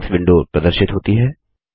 settings window प्रदर्शित होती है